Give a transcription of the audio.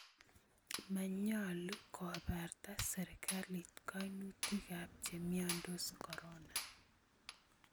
Manyoolu kobaarta serikalit kaynutikaab chemyondos corona